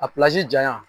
A janyan